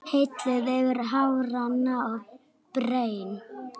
Hellið yfir hafrana og berin.